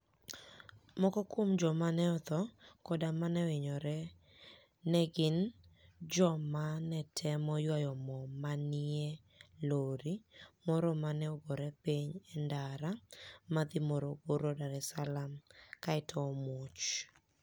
Moko kuom joma ni e otho koda ma nohiniyore ni e gini joma ni e temo ywayo mo ma ni e niie lori moro ma ni e ogore piniy e nidara madhi Morogoro - Dar es Saalaam kae to omuoch.